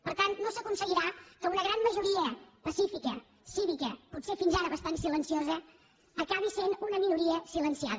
per tant no s’aconseguirà que una gran majoria pacífica cívica potser fins ara bastant silenciosa acabi sent una minoria silenciada